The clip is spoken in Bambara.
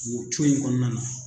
Nin co in kɔnɔna na